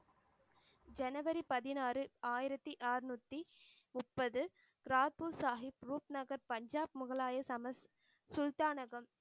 ஜனவரி பதினாறு ஆயிரத்தி ஆறுநூத்தி முப்பது கிராஃபிக் சாஹிப் ரூப்நகர் பஞ்சாப் முகலாய சமஸ் சுல்தானகம்